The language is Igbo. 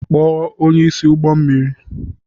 Kpọọ onye isi ụgbọ mmiri.